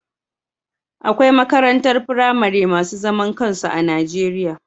Akwai makarantar firamare masu zaman kansu a Najeriya